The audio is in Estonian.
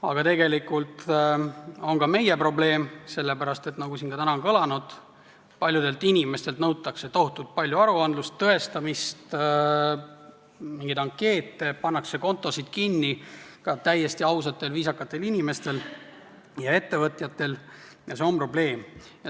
Aga tegelikult on see ka meie probleem, sest nagu siin ka täna on kõlanud, paljudelt inimestelt nõutakse tohutult palju aruandlust, tõestamist, ankeete, pannakse kinni ka täiesti ausate viisakate inimeste ja ettevõtjate kontosid – ja see on probleem.